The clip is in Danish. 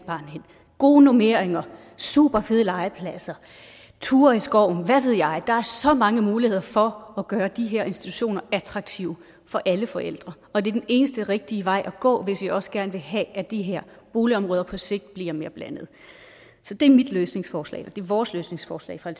gode normeringer superfede legepladser ture i skoven hvad ved jeg der er så mange muligheder for at gøre de her institutioner attraktive for alle forældre og det er den eneste rigtige vej at gå hvis vi også gerne vil have at de her boligområder på sigt bliver mere blandede så det er mit løsningsforslag og det er vores løsningsforslag fra